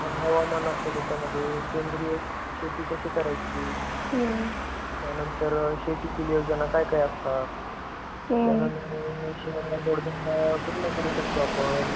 त्यानंतर, हवामान असता त्यामध्ये. शेंद्रीय शेती कशी करायची? त्यानंतर शेतीतील नियोजन काय काय असता? त्यानंतर शेती मध्ये जोड बंग कुठला करू शकतो आपण?